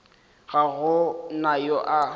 ga go na yo a